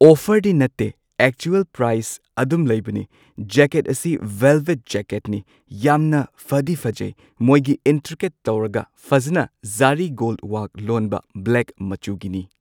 ꯑꯣꯐꯔꯗꯤ ꯅꯠꯇꯦ actual price ꯑꯗꯨꯝ ꯂꯩꯕꯅꯤ ꯖꯦꯀꯦꯠ ꯑꯁꯤ ꯕꯦꯜꯕꯦꯠ ꯖꯦꯀꯦꯠꯅꯤ ꯌꯥꯝꯅ ꯐꯗꯤ ꯐꯖꯩ ꯃꯣꯏꯒꯤ ꯏꯟꯇ꯭ꯔꯤꯀꯦꯠ ꯇꯧꯔꯒ ꯐꯖꯅ ꯖꯔꯤ ꯒꯣꯜ ꯋꯥꯛ ꯂꯣꯟꯕ ꯕ꯭ꯂꯦꯛ ꯃꯆꯨꯒꯤꯅꯤ꯫